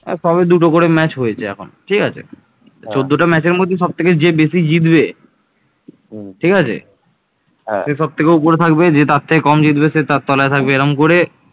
চন্দ্রকেতুগড়ে পশ্চিমবঙ্গ, ভারত আবিষ্কৃত প্রাচীন মুদ্রাগুলোয় নৌকা চিত্রিত রয়েছে